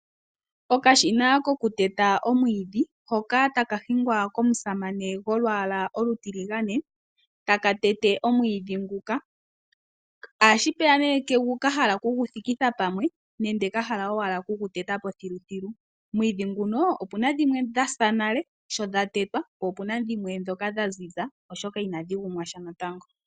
Okashina koku teta omwiidhi hoka taka hingwa komusamane golwaala olutiligane taka tete omwiidhi nguka. Ashipeya ka hala oku gu thikitha pamwe nande ka hala okugu teta po thiluthilu. Omwiidhi nguno opuna dhimwe dhasa nale shodha tetwa, po opuna dha ziza oshoka inadhi gumwa natango.